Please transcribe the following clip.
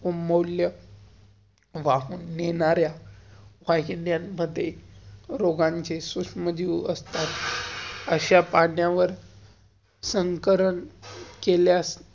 मौल्य वाहून नेहनार्या वाहिन्यां-मध्ये रोगांचे सुश्मजिव असतात. अश्या पाण्यावर संकरण केल्यास